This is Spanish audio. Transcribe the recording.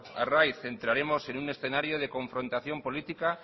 arraiz entraremos en un escenario de confrontación política